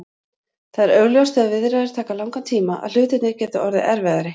Það er augljóst þegar viðræður taka langan tíma að hlutirnir gera orðið erfiðari.